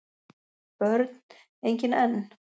Börn: engin enn